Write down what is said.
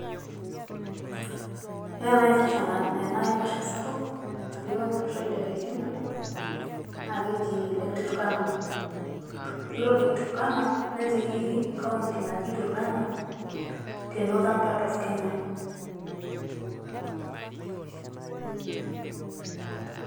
Ore ena aro ena aiposha sapuk, natii olosho leKenya. Naa keji Lake Turkana, Yiolo lake Turkana netii Ekaunti naji Turkana te Northern part of Kenya